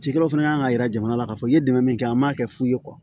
Cikɛlaw fana kan ka yira jamana la k'a fɔ i ye dɛmɛ min kɛ an m'a kɛ fu ye